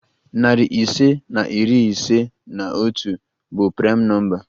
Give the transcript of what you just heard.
Narị ise na iri ise na otu bụ praịm nọmba.